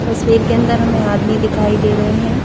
तस्वीर के अंदर हमें आदमी दिखाई दे रहे हैं।